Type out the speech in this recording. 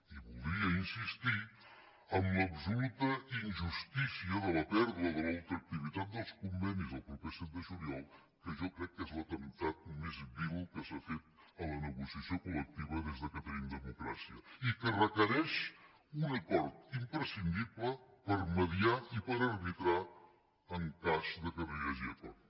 i voldria insistir en l’absoluta injustícia de la pèrdua de la ultra activitat dels convenis el proper set de juliol que jo crec que és l’atemptat més vil que s’ha fet a la negociació col·lectiva des que tenim democràcia i que requereix un acord imprescindible per mitjançar i per arbitrar en cas que no hi hagi acord